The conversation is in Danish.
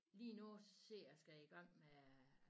Lige nu ser skal jeg i gang med